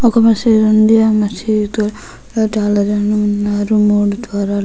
ఒక మసీదు ఉంది. ఆ మసీదు ఉన్నారు మూడు ద్వారాలు.